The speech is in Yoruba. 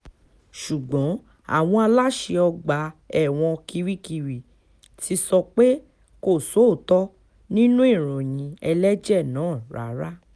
ṣùgbọ́n àwọn aláṣẹ ọgbà ẹ̀wọ̀n kirikiri ti sọ pé kò sóòótọ́ nínú ìròyìn ẹlẹ́jẹ̀ náà rárá